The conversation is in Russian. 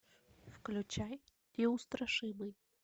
включай неустрашимый